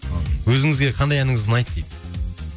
өзіңізге қандай әніңіз ұнайды дейді